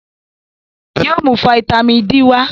Yóò mú fataímìn D wá.